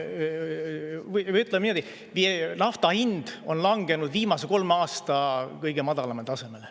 Või ütleme niimoodi, et nafta hind on langenud viimase kolme aasta kõige madalamale tasemele.